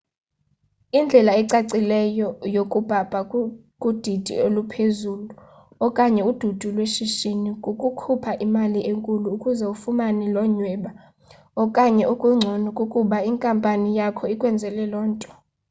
indlela ecacileyo yokubhabha kudidi eluphezulu okanye udidi lweshishini kukukhupha imali enkulu ukuze ufumane lo nyweba okanye okungcono kukuba inkampani yakho ikwenzele lo nto